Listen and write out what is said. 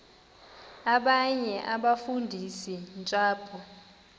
abanye abafundisi ntshapo